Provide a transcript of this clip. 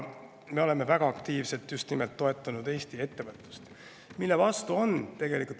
Me oleme väga aktiivselt toetanud just nimelt Eesti ettevõtlust.